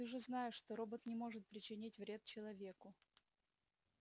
ты же знаешь что робот не может причинить вред человеку